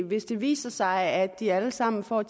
hvis det viser sig at de alle sammen får